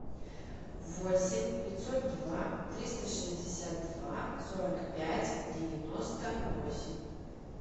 восемь пятьсот два триста шестьдесят два сорок пять девяносто восемь